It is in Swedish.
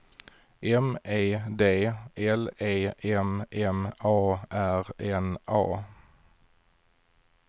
M E D L E M M A R N A